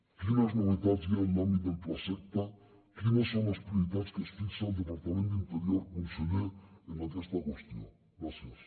quines novetats hi ha en l’àmbit del plaseqta quines són les prioritats que es fixa el departament d’interior conseller en aquesta qüestió gràcies